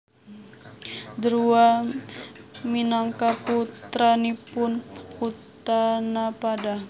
Druwa minangka putranipun Utanapada